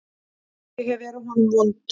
Ég hef verið honum vond.